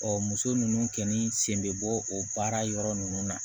Ɔ muso ninnu kɛni sen bɛ bɔ o baara yɔrɔ ninnu na